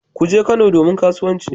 Kuje Kano domin kasuwanci